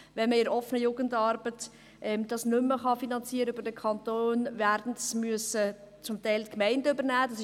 Wenn man es in der offenen Jugendarbeit nicht mehr über den Kanton finanzieren kann, werden es teilweise die Gemeinden übernehmen müssen.